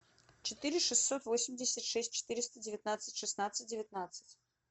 четыре шестьсот восемьдесят шесть четыреста девятнадцать шестнадцать девятнадцать